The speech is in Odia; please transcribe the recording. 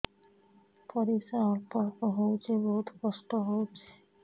ପରିଶ୍ରା ଅଳ୍ପ ଅଳ୍ପ ହଉଚି ବହୁତ କଷ୍ଟ ହଉଚି